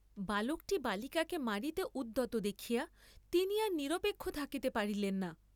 বালকটি বালিকাকে মারিতে উদ্যত দেখিয়া তিনি আর নিরপেক্ষ থাকিতে পারিলেন না।